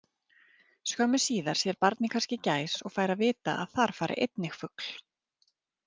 Skömmu síðar sér barnið kannski gæs og fær að vita að þar fari einnig fugl.